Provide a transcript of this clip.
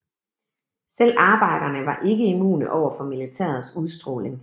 Selv arbejderne var ikke immune overfor militærets udstråling